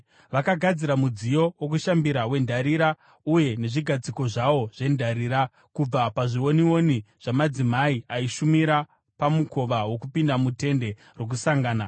Vakagadzira mudziyo wokushambira wendarira uye nezvigadziko zvawo zvendarira kubva pazvionioni zvamadzimai aishumira pamukova wokupinda muTende Rokusangana.